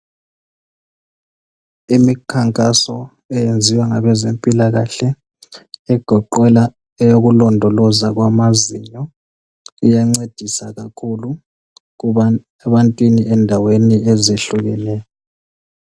Imikhankaso eyenziwa ngabempilakahle egoqela eyokulondoloza kwamazinyo iyancedisa kakhulu ebantwini endaweni ezehlukeneyo.